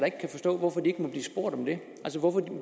ikke kan forstå hvorfor de ikke må blive spurgt om det altså hvorfor